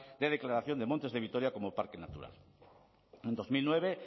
de declaración de montes de vitoria como parque natural en dos mil nueve